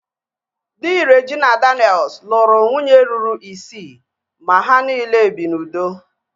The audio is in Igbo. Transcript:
Dị Regina Daniel's lụrụ nwunye ruru isii ma ha niile bi n'udo